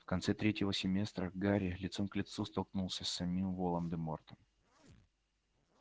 в конце третьего семестра гарри лицом к лицу столкнулся с самим волан-де-мортом